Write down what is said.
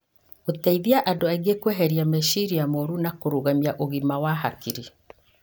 Gũteithagia andũ kũeheria meciria moru na kũrũgamia ũgima wa hakiri.